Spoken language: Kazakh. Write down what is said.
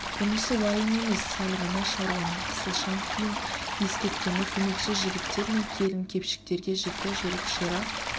бұнысы уайым емес сәл ғана шаруанын қысылшан күйін ескрткені көмекші жігіттер мен келін-кепшіктерге жіті жүріп ширақ